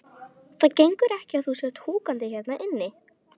Það gengur ekki að þú sért húkandi hérna inni.